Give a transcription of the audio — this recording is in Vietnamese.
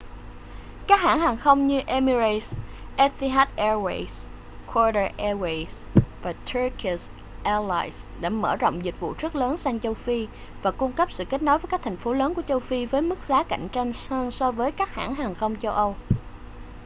các hãng hàng không như emirates etihad airways qatar airways và turkish airlines đã mở rộng dịch vụ rất lớn sang châu phi và cung cấp sự kết nối với các thành phố lớn của châu phi với mức giá cạnh tranh hơn so với các hãng hàng không châu âu